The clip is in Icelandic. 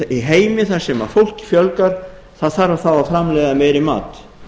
í heimi þar sem fólki fjölgar það þarf þá að framleiða meiri mat